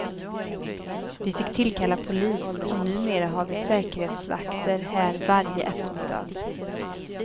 Vi fick tillkalla polis och numera har vi säkerhetsvakter här varje eftermiddag.